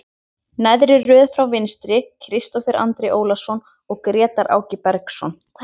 Neðri röð frá vinstri, Kristófer Andri Ólason og Grétar Áki Bergsson.